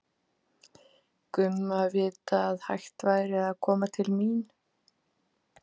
Gumma vita að hægt væri að koma til mín.